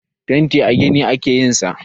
Fenti a gini ake yin sa.